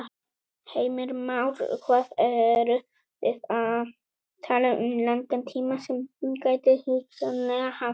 Heimir Már: Hvað eru þið að tala um langan tíma sem hún gæti hugsanlega haft?